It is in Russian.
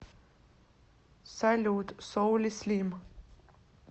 салют соули слим